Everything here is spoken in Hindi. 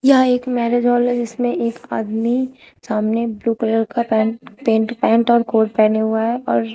यह एक मैरिज हाल है जिसमें एक आदमी सामने ब्लू कलर का पैंट पेंट पैंट और कोट पहने हुआ है और--